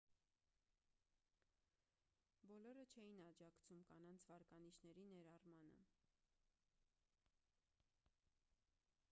բոլորը չէին աջակցում կանանց վարկանիշների ներառմանը